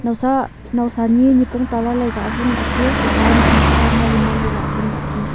nawsa nawsa ni nipong tala lai ka awun lahley taiya tuta e naknak ka mali mali awun lahley taiya.